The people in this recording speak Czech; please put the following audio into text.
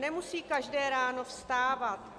Nemusí každé ráno vstávat.